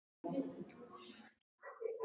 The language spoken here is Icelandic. Hann var af engu fólki.